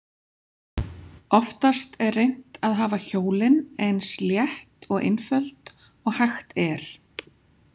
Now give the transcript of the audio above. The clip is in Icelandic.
Oftast er reynt að hafa hjólin eins létt og einföld og hægt er.